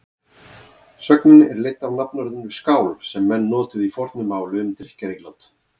Sögnin er leidd af nafnorðinu skál sem menn notuðu í fornu máli um drykkjarílát.